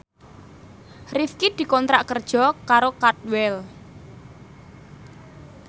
Rifqi dikontrak kerja karo Cadwell